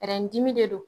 dimi de don